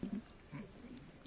Panie Przewodniczący!